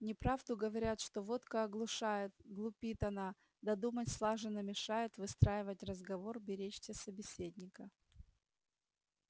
неправду говорят что водка оглушает глупит она да думать слаженно мешает выстраивать разговор беречься собеседника